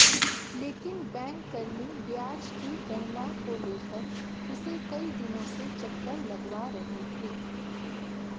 लेकिन बैंककर्मी ब्याज की गणना को लेकर उसे कई दिनों से चक्कर लगवा रहे थे